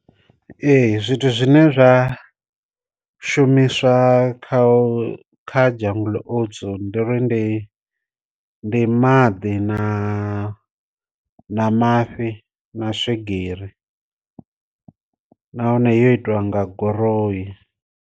Ee zwithu zwine zwa shumiswa kha kha jungle oats ndi ri ndi ndi maḓi na na mafhi na swigiri, nahone yo itiwa nga goroyi.